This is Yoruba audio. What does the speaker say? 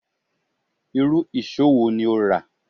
Irú ìṣó wo ni o rà